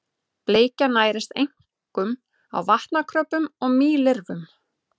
Bleikjan nærist einkum á vatnakröbbum og mýlirfum.